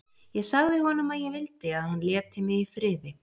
Ég sagði honum að ég vildi að hann léti mig í friði.